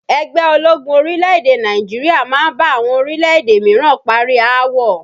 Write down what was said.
Ẹgbẹ́ ológun orílẹ̀-èdè Nàìjíríà máa ń bá àwọn orílẹ̀-èdè míràn parí aáwọ̀